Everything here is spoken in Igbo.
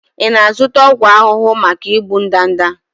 Ị na-azụta ọgwụ ahụhụ maka igbu ndanda?